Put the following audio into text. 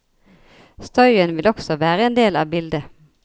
Støyen vil også være en del av bildet.